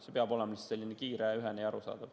See peab olema just kiire, ühene ja arusaadav.